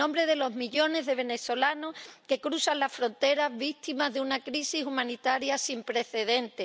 en nombre de los millones de venezolanos que cruzan la frontera, víctimas de una crisis humanitaria sin precedentes